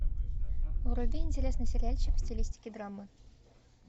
вруби интересный сериальчик в стилистике драмы